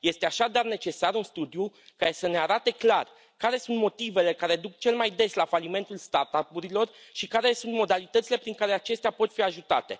Este, așadar, necesar un studiu care să ne arate clar care sunt motivele ce duc cel mai des la falimentul start up urilor și care sunt modalitățile prin care acestea pot fi ajutate.